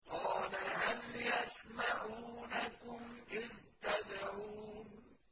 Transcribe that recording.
قَالَ هَلْ يَسْمَعُونَكُمْ إِذْ تَدْعُونَ